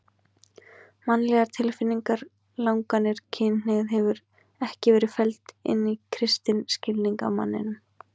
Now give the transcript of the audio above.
Mannlegar tilfinningar, langanir, kynhneigð hefur ekki verið felld inn í kristinn skilning á manninum.